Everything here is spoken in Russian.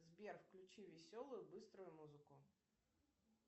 сбер включи веселую быструю музыку